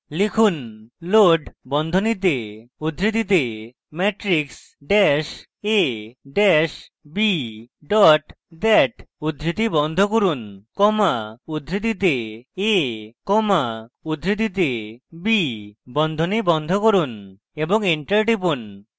লিখুন: load বন্ধনীতে উদ্ধৃতিতে matrix dat a dat b dot dat উদ্ধৃতি বন্ধ করুন comma উদ্ধৃতিতে a comma উদ্ধৃতিতে b বন্ধনী বন্ধ করুন এবং enter টিপুন